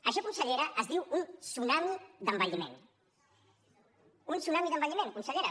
això consellera es diu un tsunami d’envelliment un tsunami d’envelliment consellera